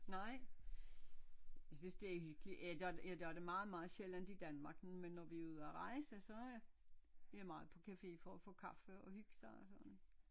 Nej jeg synes det er hyggeligt jeg gør det jeg gør det meget meget sjældent i Danmark men når vi er ude at rejse så er vi meget på cafe for at få kaffe og hygge sig og sådan